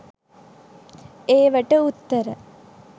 ඒවට උත්තර